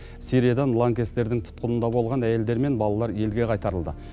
сириядан лаңкестердің тұтқынында болған әйелдер мен балалар елге қайтарылды